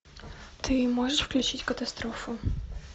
ты можешь включить катастрофу